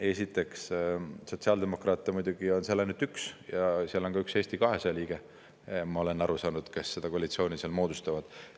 Esiteks, sotsiaaldemokraate on seal ainult üks ja seal on ka üks Eesti 200 liige, ma olen aru saanud, kes seda koalitsiooni seal moodustavad.